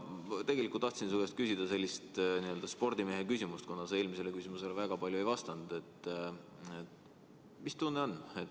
Tegelikult tahtsin su käest küsida sellist spordimehe küsimust, kuna sa eelmisele küsimusele väga palju ei vastanud, et mis tunne on.